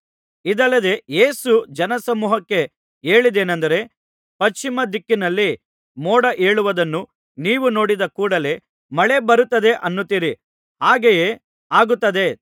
ಇದಲ್ಲದೆ ಯೇಸು ಜನಸಮೂಹಕ್ಕೆ ಹೇಳಿದ್ದೇನಂದರೆ ಪಶ್ಚಿಮ ದಿಕ್ಕಿನಲ್ಲಿ ಮೋಡ ಏಳುವುದನ್ನು ನೀವು ನೋಡಿದ ಕೂಡಲೆ ಮಳೆ ಬರುತ್ತದೆ ಅನ್ನುತ್ತೀರಿ ಹಾಗೆಯೇ ಆಗುತ್ತದೆ